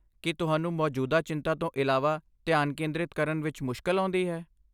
ਕੀ ਤੁਹਾਨੂੰ ਮੌਜੂਦਾ ਚਿੰਤਾ ਤੋਂ ਇਲਾਵਾ ਧਿਆਨ ਕੇਂਦਰਿਤ ਕਰਨ ਵਿੱਚ ਮੁਸ਼ਕਲ ਆਉਂਦੀ ਹੈ?